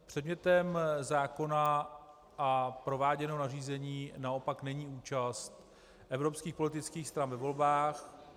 Předmětem zákona a prováděného nařízení naopak není účast evropských politických stran ve volbách.